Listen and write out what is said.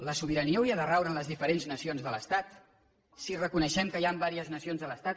la sobirania hauria de raure en les diferents nacions de l’estat si reconeixem que hi han diverses nacions a l’estat